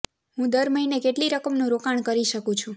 હું દર મહિને કેટલી રકમનું રોકાણ કરી શકું છું